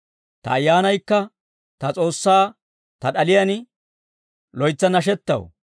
Ta ayyaanaykka ta S'oossaa, ta d'aliyaan, loytsa nashettaw.